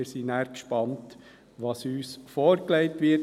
Wir sind gespannt, was uns nachher vorgelegt wird.